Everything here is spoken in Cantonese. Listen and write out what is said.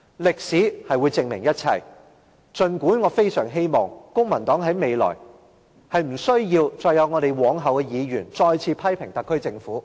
歷史會證明一切，儘管我非常希望公民黨未來不需要再有我們及往後的議員，再次批評特區政府。